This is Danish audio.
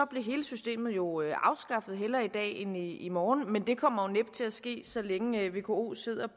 blev hele systemet jo afskaffet hellere i dag end i morgen men det kommer næppe til at ske så længe vko sidder